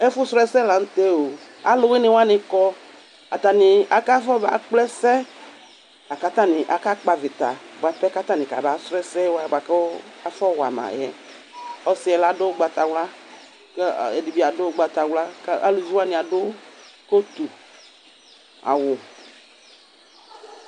Ɛfu surɔ ɛsɛ lanʋtɛoo, aalʋwuiniwani kɔ atani afɔba klɛsɛ, a k'atani akakpɔ avita buapɛ k'atani kaba sɔrɔ ɛsɛwani buakʋ afɔwamayɛƆsiɛ laɖʋ ugbatawla k'ɛɖibi aɖʋ ugbatawla k'alʋviwani aɖʋ kotʋ, awu